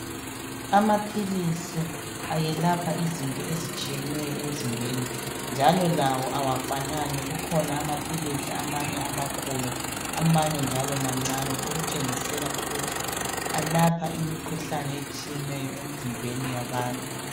Amaphilisi ayelapha izinto ezitshiyeneyo emizimbeni njalo lawo awafanani kukhona amaphilisi amanye amakhulu amanye njalo mancane okutshengisela ukuthi alapha imikhuhlane etshiyeneyo emizimbeni yabantu.